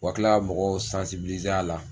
U ka kila ka mɔgɔw a la.